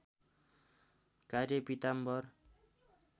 कार्य पीताम्बर